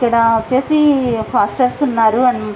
ఇక్కడ వచ్చేసి పాస్టర్లు ఉనారు అండ్ --